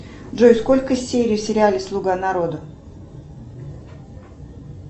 джой сколько серий в сериале слуга народа